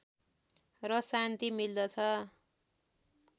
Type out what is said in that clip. र शान्ति मिल्दछ